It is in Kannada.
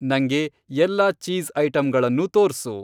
ನಂಗೆ ಎಲ್ಲಾ ಚೀಸ್ ಐಟಂಗಳನ್ನೂ ತೋರ್ಸು.